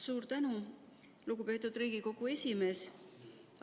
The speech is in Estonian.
Suur tänu, lugupeetud Riigikogu esimees!